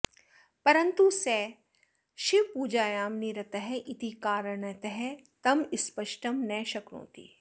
परन्तु सः शिवपूजायां निरतः इति कारणतः तं स्प्रष्टं न शक्नोति